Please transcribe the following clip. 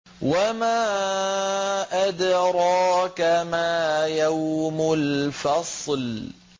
وَمَا أَدْرَاكَ مَا يَوْمُ الْفَصْلِ